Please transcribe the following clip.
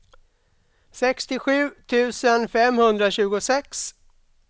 sextiosju tusen femhundratjugosex